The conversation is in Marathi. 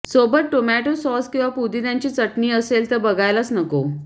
सोबत टोमॅटो सॉस किंवा पुदिन्याची चटणी असेल तर बघायलाच नको